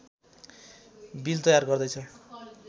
bill तयार गर्दैछ